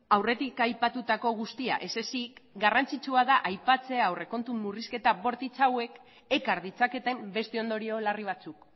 aurretik aipatutako guztia ez ezik garrantzitsua da aipatzea ere aurrekontu murrizketa bortitz hauek ekar ditzaketen beste ondorio larri batzuk